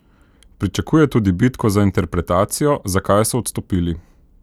Pričakuje tudi bitko za interpretacijo, zakaj so odstopili.